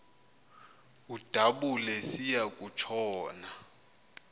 udabula esiya kutshona